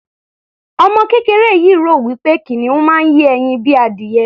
Ọmọ kéreké yìí rò wí pé kìnìún máa ń yé ẹyin bíi adìyẹ.